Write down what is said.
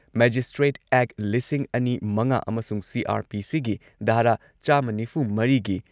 magistrate ꯑꯦꯛ, ꯂꯤꯁꯤꯡ ꯑꯅꯤ ꯃꯉꯥ ꯑꯃꯁꯨꯡ ꯁꯤ.ꯑꯥꯔ.ꯄꯤ.ꯁꯤꯒꯤ ꯙꯥꯔꯥ ꯆꯥꯝꯃ ꯅꯤꯐꯨ ꯃꯔꯤꯒꯤ